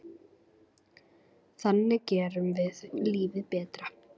Þannig gerum við lífið betra.